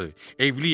Evliyəm.